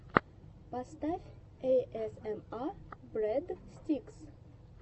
поставь эйэсэма брэдстикс